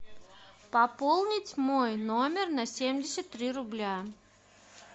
пополнить мой номер на семьдесят три рубля